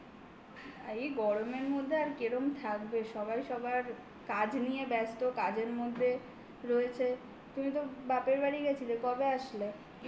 এই গরমের মধ্যে আর কেরোম থাকবে, সবাই সবার কাজ নিয়ে ব্যস্ত, কাজের মধ্যে রয়েছে। তুমি তো বাপের বাড়ি গেছিলে কবে আসলে?